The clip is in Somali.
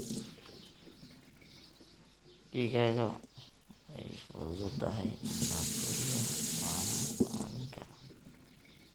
Digaagga way fududahay in la koriyo waana ku caawin karaan.